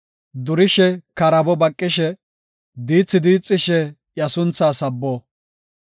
Durishe, karaabo baqishe, diithi diixishe iya sunthaa sabbo.